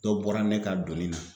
Dɔ bɔra ne ka doni na